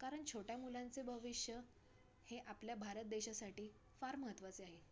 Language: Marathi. कारण छोट्या मुलांचे भविष्य हे आपल्या भारत देशासाठी फार महत्वाचे आहे.